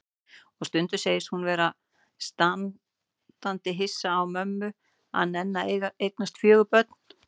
Og stundum segist hún vera standandi hissa á mömmu að nenna að eignast fjögur börn.